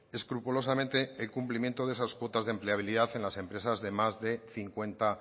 escrupulosamente el cumplimiento de esas cuotas de empleabilidad en las empresas de más de cincuenta